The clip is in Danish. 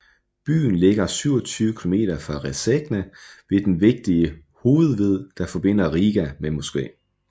Byen ligger 27 kilometer fra Rēzekne ved den vigtige hovedved der forbinder Riga med Moskva